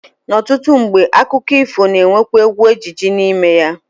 Ọtụtụ mgbe, akụkọ ifo na-anwekwa egwu ejije n'ime ya